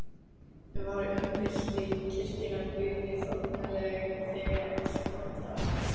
Var umbylting kirkjunnar Guði þóknanleg þegar allt kom til alls?